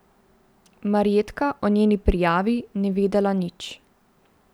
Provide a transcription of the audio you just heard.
Marjetka o njeni prijavi ni vedela nič.